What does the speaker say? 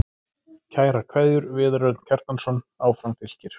Kærar kveðjur, Viðar Örn Kjartansson Áfram Fylkir